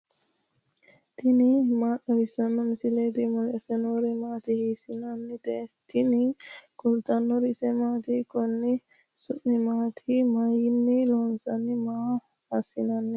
tini maa xawissanno misileeti ? mulese noori maati ? hiissinannite ise ? tini kultannori isi maatti? Konni su'mi maatti? Mayiinni loosamminno? Maa asi'nanni?